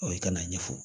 i kana a ɲɛfɔ